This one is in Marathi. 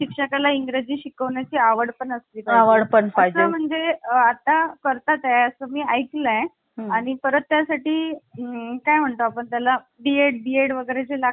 तर तिच्यामध्ये बदल करता येतो आणि आतापर्यंत कित्येक वेळा बदल करण्यात आलेले आहे. आणि तो कोणत्या घटनादुरुस्ती नुसार करण्यात आलेला आहे तर तो बेचाळिसवी घटनादुरुस्ती एकोणविशे शाहत्तर नुसार हा बदल करण्यात आलेला आहे.